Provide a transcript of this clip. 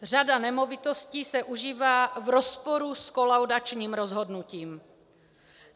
Řada nemovitostí se užívá v rozporu s kolaudačním rozhodnutím.